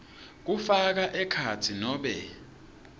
kufaka ekhatsi nobe